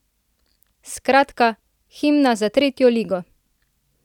Skratka, himna za tretjo ligo!